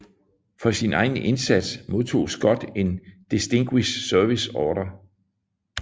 For sin egen indsats modtog Scott en Distinguished Service Order